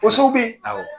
Ko so bi awɔ